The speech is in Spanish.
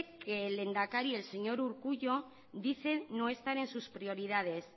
que el lehendakari el señor urkullu dice no estar en sus prioridades